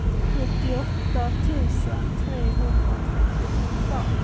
sjuttioåtta tusen trehundratrettioåtta